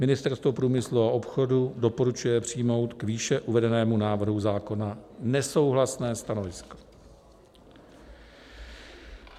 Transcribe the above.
Ministerstvo průmyslu a obchodu doporučuje přijmout k výše uvedenému návrhu zákona nesouhlasné stanovisko."